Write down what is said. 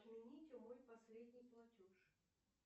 отмените мой последний платеж